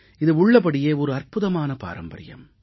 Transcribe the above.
இது உள்ளபடியே ஒரு அற்புதமான பாரம்பரியம்